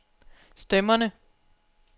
stemmerne